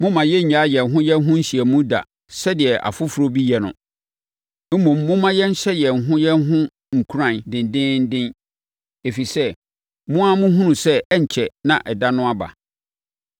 Mommma yɛnnnyae yɛn ho yɛn ho nhyiamu da sɛdeɛ afoforɔ bi yɛ no. Mmom, momma yɛnhyɛ yɛn ho yɛn ho nkuran dendeenden, ɛfiri sɛ, mo ara mohunu sɛ ɛrenkyɛre na ɛda no aba.